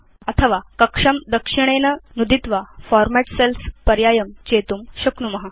अथवा कक्षं दक्षिणेन नुदित्वा फॉर्मेट् सेल्स् पर्यायं चेतुं शक्नुम